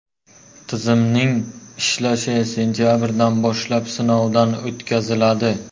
Tizimning ishlashi sentabrdan boshlab sinovdan o‘tkaziladi.